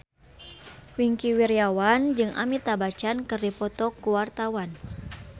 Wingky Wiryawan jeung Amitabh Bachchan keur dipoto ku wartawan